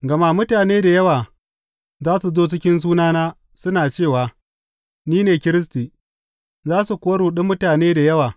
Gama mutane da yawa za su zo cikin sunana, suna cewa, Ni ne Kiristi,’ za su kuwa ruɗi mutane da yawa.